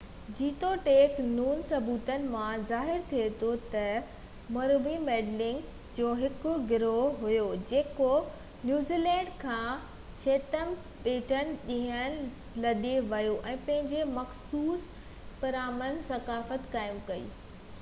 جيتوڻيڪ نون ثبوتن مان ظاهر ٿئي ٿو ته موريوري مينلينڊ ميئوري جو هڪ گروهه هيو جيڪو نيوزيلينڊ کان چيٿم ٻيٽن ڏانهن لڏي ويو ۽ پنهنجي مخصوص پرامن ثقافت قائم ڪئي